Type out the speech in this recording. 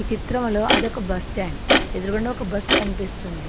ఈ చిత్రంలో అదొక బస్ స్టాండ్ ఎదురుగుండా ఒక బస్ కనిపిస్తుంది.